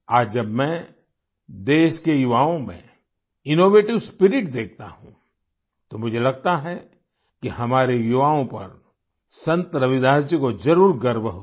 आज जब मैं देश के युवाओं में इनोवेटिव स्पिरिट देखता हूँ तो मुझे लगता है कि हमारे युवाओं पर संत रविदास जी को जरुर गर्व होता